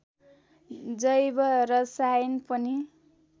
जैव रसायन पनि